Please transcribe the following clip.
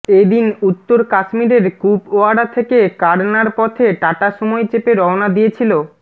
এ দিন উত্তর কাশ্মীরের কুপওয়ারা থেকে কারনার পথে টাটা সুমোয় চেপে রওনা দিয়েছিল